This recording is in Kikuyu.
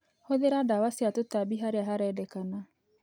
Hũthĩra ndawa cia tũtambi harĩa harendekana.